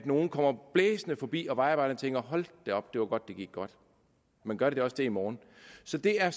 nogle kommer blæsende forbi og vejarbejderne tænker hold da op det var godt at det gik godt men gør det også det i morgen så det er